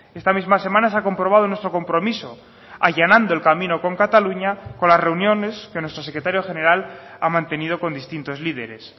esta misma semana se ha comprobado nuestro compromiso allanando el camino con cataluña con las reuniones que nuestro secretario general ha mantenido con distintos líderes